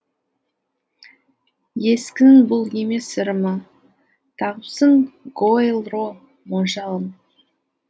ескінің бұл емес ырымы тағыпсың гоэлро моншағын